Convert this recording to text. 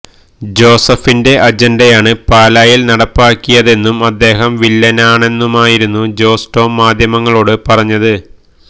ജോസഫിന്റെ അജൻഡയാണ് പാലായിൽ നടപ്പിലാക്കിയതെന്നും അദ്ദേഹം വില്ലനാണെന്നുമായിരുന്നു ജോസ് ടോം മാധ്യമങ്ങളോട് പറഞ്ഞത്